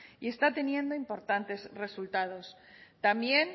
y está teniendo importantes resultados también